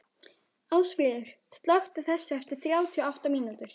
Ásfríður, slökktu á þessu eftir þrjátíu og átta mínútur.